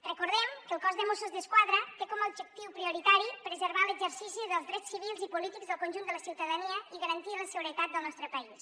recordem que el cos dels mossos d’esquadra té com a objectiu prioritari preservar l’exercici dels drets civils i polítics del conjunt de la ciutadania i garantir la seguretat del nostre país